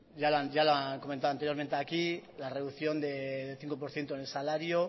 ya lo han comentado anteriormente aquí que la reducción de cinco por ciento en el salario